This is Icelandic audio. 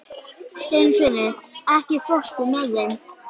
Steinfinnur, ekki fórstu með þeim?